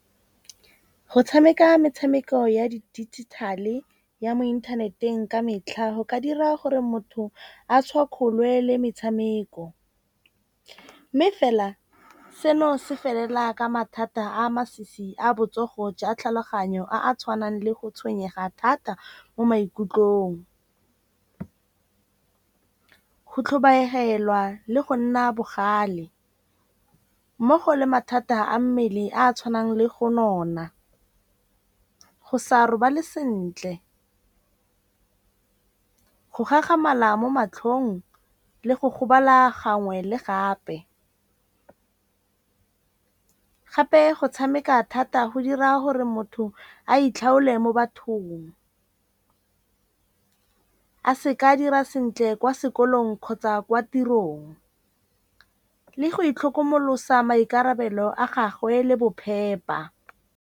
Go tshameka metshameko ya di dijithale ya mo inthaneteng ka metlha go ka dira gore motho a tshwakgole le metshameko. Mme fela seno se felela ka mathata a masisi a botsogo jwa tlhaloganyo a a tshwanang le go tshwenyega thata mo maikutlong. Ho tlhobaelwa le go nna bogale mmogo le mathata a mmele a a tshwanang le go nona, go sa robale sentle, go gakgamala mo matlhong le go gobala gangwe le gape. Gape go tshameka thata go dira gore motho a itlhaole mo bathong. A se ka dira sentle kwa sekolong kgotsa kwa tirong le go itlhokomolosa maikarabelo a gagwe le bophepa.